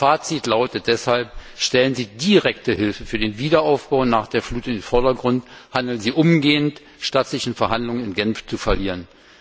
Mein Fazit lautet deshalb Stellen Sie direkte Hilfe für den Wiederaufbau nach der Flut in den Vordergrund, handeln Sie umgehend, statt sich in Verhandlungen in Genf zu verlieren!